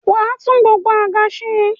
wà á tún gbogbo àga se.